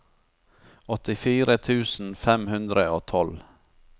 åttifire tusen fem hundre og tolv